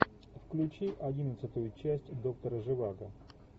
включи одиннадцатую часть доктора живаго